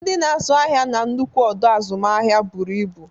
Ndị na-azụ ahịa na nnukwu ọdọ azụmahịa buru ibu.